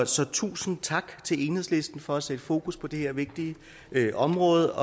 så tusind tak til enhedslisten for at sætte fokus på det her vigtige område